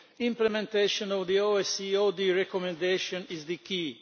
Implementation of the OSC OD recommendation is the key.